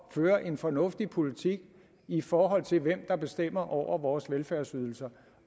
at føre en fornuftig politik i forhold til hvem der bestemmer over vores velfærdsydelser